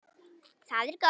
Það er gott